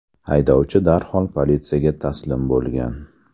Haydovchi darhol politsiyaga taslim bo‘lgan.